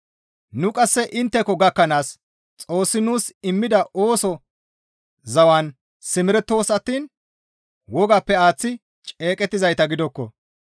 Nu qasse intteko gakkanaas Xoossi nuus immida ooso zawan simerettoos attiin wogappe aaththi ceeqettizayta gidokko.